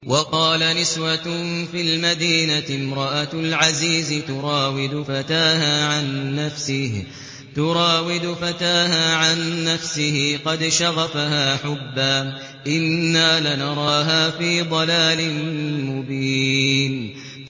۞ وَقَالَ نِسْوَةٌ فِي الْمَدِينَةِ امْرَأَتُ الْعَزِيزِ تُرَاوِدُ فَتَاهَا عَن نَّفْسِهِ ۖ قَدْ شَغَفَهَا حُبًّا ۖ إِنَّا لَنَرَاهَا فِي ضَلَالٍ مُّبِينٍ